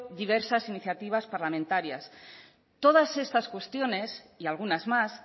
diversas iniciativas parlamentarias todas estas cuestiones y algunas más